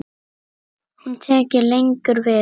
Hún tekur lengi við.